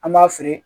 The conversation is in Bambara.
An b'a feere